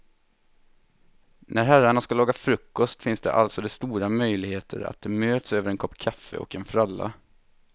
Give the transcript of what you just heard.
När herrarna ska laga frukost finns alltså det stora möjligheter att de möts över en kopp kaffe och en fralla.